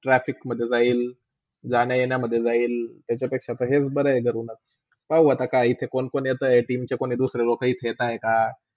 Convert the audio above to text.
trafic मधे जाईल, जाण - येणामधे जाईल त्याज्यापेक्षा हेच बरे आहे रूममधे. बघू आता काय इथे कोण - कोण येताय team च्या कोणी दुसरी लोका इथेच हाय का.